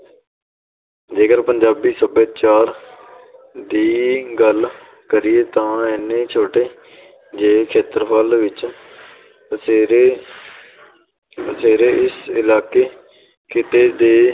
ਜੇਕਰ ਪੰਜਾਬੀ ਸੱਭਿਆਚਾਰ ਦੀ ਗੱਲ ਕਰੀਏ ਤਾਂ ਇੰਨੇ ਛੋਟੇ ਜਿਹੇ ਖੇਤਰਫਲ ਵਿੱਚ ਪਸਰੇ ਪਸਰੇ ਇਸ ਇਲਾਕੇ ਖਿੱਤੇ ਦੇ